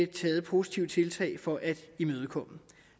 taget positive tiltag for at imødegå